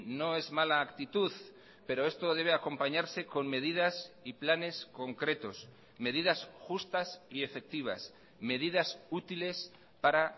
no es mala actitud pero esto debe acompañarse con medidas y planes concretos medidas justas y efectivas medidas útiles para